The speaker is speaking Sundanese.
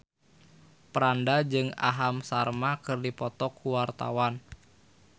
Franda jeung Aham Sharma keur dipoto ku wartawan